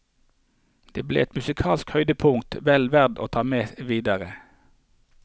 Det ble et musikalsk høydepunkt vel verd å ta med videre.